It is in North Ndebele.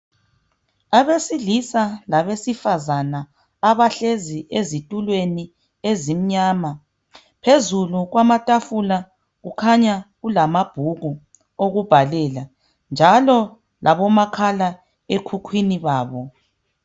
Abesilisa labesifazana abahlezi ezitulweni ezimnyama. Phezulu kwamatafula kukhanya kulamabhuku okubhalela njalo labomakhala ekhukhwini babo.